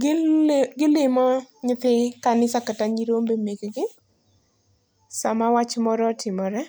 Gil gilimo nytithi kanisa kata nyirombe mekgi, sama wacho moro otimore,